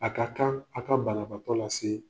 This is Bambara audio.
A ka kan a' ka banabaatɔ lase